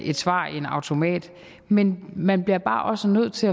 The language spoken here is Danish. et svar i en automat men man bliver bare også nødt til